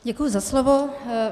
Děkuji za slovo.